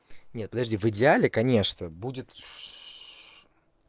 нет подожди в идеале конечно будет